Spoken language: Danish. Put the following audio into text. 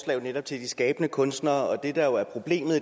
jo netop de skabende kunstnere og det der er problemet